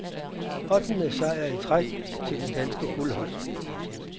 Ottende sejr i træk til det danske guldhold.